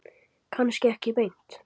Kannski ekki beint.